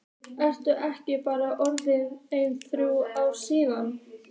Eru ekki bara orðin ein þrjú ár síðan?